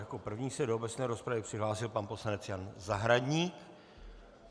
Jako první se do obecné rozpravy přihlásil pan poslanec Jan Zahradník.